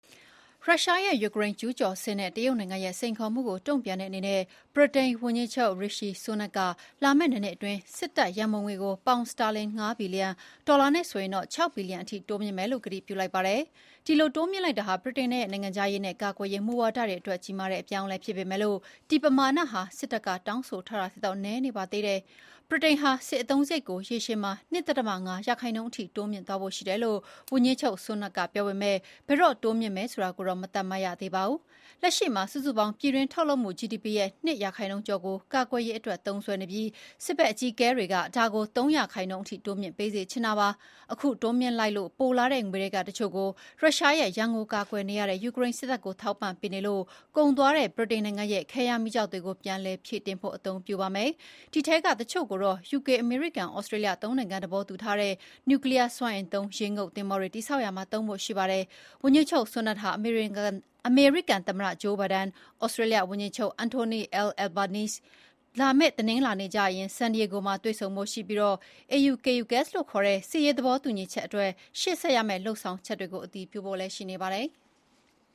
ရုရှားရဲ့ယူကရိန်းကျူးကျော်စစ်နဲ့ တရုတ်နိုင်ငံရဲ့စိန်ခေါ်မှုကို တုံ့ပြန်တဲ့အနေနဲ့ ဗြိတိန်ဝန်ကြီးချုပ် ရီရှီ ဆူးနက်ခ် (Rishi Sunak) က လာမယ့်နှစ်နှစ်အတွင်း စစ်တပ်ရန်ပုံငွေကို ပေါင် စတာလင် ၅ ဘီလီယံ - ဒေါ်လာနဲ့ဆိုရင် ၆ ဘီလီယံအထိ တိုးမြှင့်မယ်လို့ ကတိပြုလိုက်ပါတယ်။ ဒီလိုတိုးမြှင့်လိုက်တာဟာ ဗြိတိန်ရဲ့ နိုင်ငံခြားရေးနဲ့ ကာကွယ်ရေးမူဝါဒတွေအတွက် ကြီးမားတဲ့အပြောင်းအလဲ ဖြစ်ပေမယ့် ဒီ ပမာဏာဟာ စစ်တပ်က တောင်းဆိုထားတာထက်တော့ နည်းနေပါသေးတယ်။ ဗြိတိန်ဟာ စစ်အသုံးစရိတ်ကို ရေရှည်မှာ ၂.၅ ရာခိုင်နှုန်းအထိ တိုးမြှင့်သွားဖို့ ရှိတယ်လို့ ဝန်ကြီးချုပ်ဆူးနက်ခ် (Sunak) က ပြောပေမယ့် ဘယ်တော့ တိုးမြှင့် မယ်ဆိုတာကိုတော့ မသတ်မှတ်ရသေးပါဘူး။ လက်ရှိမှာ စုစုပေါင်း ပြည်တွင်းထုတ်လုပ်မှု ဂျီဒီပီ ရဲ့ ၂ ရာခိုင်နှုန်းကျော်ကို ကာကွယ်ရေးအတွက်သုံးစွဲနေပြီး စစ်ဘက်အကြီးအကဲတွေက ဒါကို ၃ ရာခိုင်နှုန်းအထိ တိုးမြှင့်ပေးစေချင်တာပါ။ အခု တိုးမြှင်လိုက်လို့ပိုလာတဲ့ ငွေထဲကတချို့ကို ရုရှားရဲ့ရန်ကိုကာကွယ်နေရတဲ့ ယူကရိန်းစစ်တပ်ကိုထောက်ပံ့ပေးနေလို့ ကုန်သွားတဲ့ ဗြိတိန်ရဲ့ခဲယမ်းမီးကျောက်တွေကို ပြန်လည်ဖြည့်တင်းဖို့ အသုံးပြုပါမယ်။ ဒီထဲက တချို့ကို ယူကေ-အမေရိကန်-သြစတြေးလျ သုံးနိုင်ငံ သဘောတူထားတဲ့ နျူကလီယားစွမ်းအင်သုံး ရေငုပ်သင်္ဘောတွေ တည်ဆောက်ရာမှာ သုံးဖို့ ရှိပါတယ်။ ဝန်ကြီးချုပ်ဆူးနက်ခ်ဟာ အမေရိကန်သမ္မတ ဂျိုးဘိုင်ဒန်၊ သြစတြေးလျဝန်ကြီးချုပ် အန်ထိုနီ အယ် အယ်လ်ဘာနီးစ် (Anthony Albanese) တို့နဲ့ လာမယ့် တနင်္လာနေ့ ကျရင် ဆန်ဒီရေးဂို (San Diego) မှာ တွေ့ဆုံ ဖို့ ရှိပြီး AUKUS လို့ ခေါ် တဲ့ စစ်ရေးသဘောတူညီချက်အတွက် ရှေ့ဆက်ရမယ့် လုပ်ဆောင်တွေကို အတည်ပြုကြဖို့လည်း ရှိနေပါတယ်။